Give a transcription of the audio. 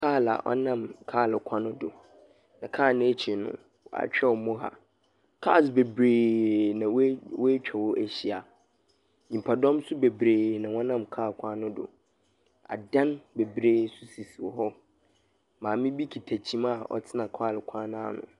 Kaal aa ɔnam kaal kwan do. Na kaa n'akyir no w'atwerɛw moha. Kaas bebree na w'atwa hɔ ahyia, nyimpa dɔm so bebree na wɔ nam kaa kwan no do. Adan bebree so sisi hɔ. Maame bi kita kyima aa ɔtsena kaal kwan n'ano.